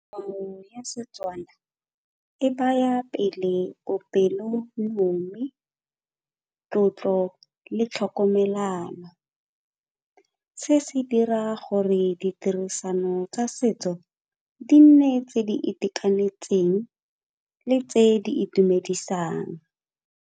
ya setswana e baya pele bopelonomi, tlotlo le tlhokomelano. Se se dira gore ditirisano tsa setso di nne tse di itekanetseng le tse di itumedisang.